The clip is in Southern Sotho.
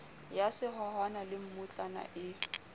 ya sehohwana le mmutla e